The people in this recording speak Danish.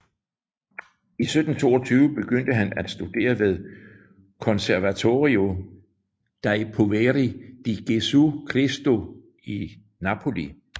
I 1722 begyndte han at studere ved Conservatorio dei Poveri di Gesù Cristo i Napoli